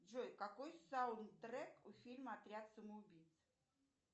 джой какой саундтрек у фильма отряд самоубийц